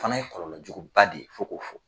Fana ye kɔlɔlɔ jugu ba de ye fo k'o fɔ.